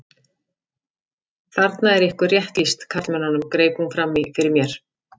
Þarna er ykkur rétt lýst karlmönnunum, greip hún fram í fyrir mér.